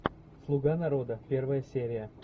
слуга народа первая серия